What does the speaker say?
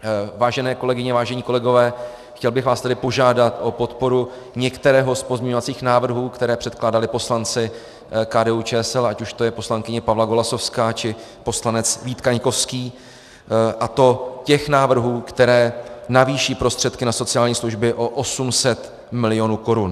Vážené kolegyně, vážení kolegové, chtěl bych vás tedy požádat o podporu některého z pozměňovacích návrhů, které předkládali poslanci KDU-ČSL, ať už to je poslankyně Pavla Golasowská, či poslanec Vít Kaňkovský, a to těch návrhů, které navýší prostředky na sociální služby o 800 milionů korun.